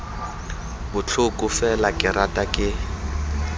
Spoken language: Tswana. botlhoko fela ke rata ke